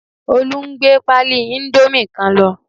Olú n gbé páálí íńdómì kan lọ